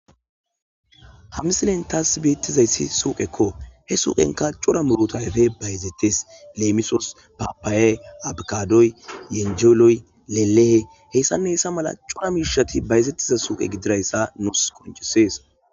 Misiliyan taas beettiyaazay suqqekko; he suqqenkka cora murutati bayzzettees. Leemisuwaw: paappayee, aavokaadoy, yaanjellow, leellehow, hessanne hessa mala ubba miishshazi bayzzettiya suqqe gididoogaa nuuss qonccissees.